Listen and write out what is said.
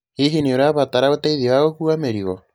Hihi nĩ ũrabatara ũteithio wa gũkuua mĩrigo?